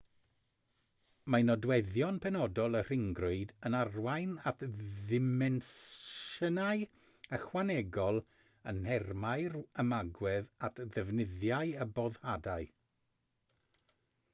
mae nodweddion penodol y rhyngrwyd yn arwain at ddimensiynau ychwanegol yn nhermau'r ymagwedd at ddefnyddiau a boddhadau